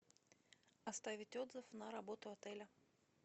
оставить отзыв на работу отеля